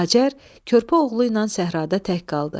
Hacər körpə oğlu ilə səhrada tək qaldı.